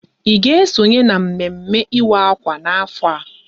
Ị ga esonye na mme mme ịwa akwa n'afọ a?